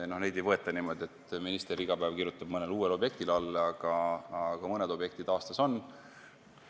No kaitse alla ei võeta niimoodi, et minister iga päev kirjutab mõnele uuele otsusele alla, aga mõned sellised objektid aastas on.